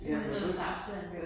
Ja man ved ikke ja